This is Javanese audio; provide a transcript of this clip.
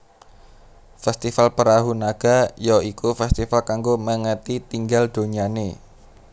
Festival Perahu Naga ya iku festival kanggo mengeti tinggal donyane